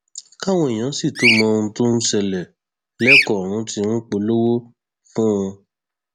káwọn èèyàn sì tóó mọ ohun tó ń ṣẹlẹ ẹlẹkọ ọrun tí ń polówó fún un